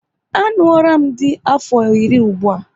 A ṅụọram dị m afọ iri ụgbụa